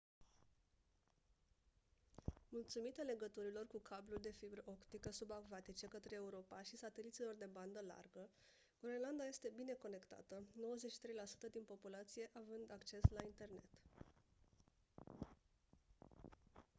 mulțumită legăturilor cu cabluri de fibră optică subacvatice către europa și sateliților de bandă largă groenlanda este bine conectată 93% din populația având acces la internet